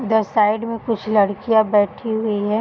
उधर साइड में कुछ लड़कियां बैठी हुई है।